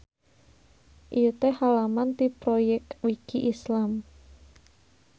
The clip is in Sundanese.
Ieu teh halaman ti Proyekwiki Islam.